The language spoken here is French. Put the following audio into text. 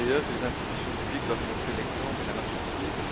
Les institutions publiques doivent montrer l'exemple et la marche à suivre.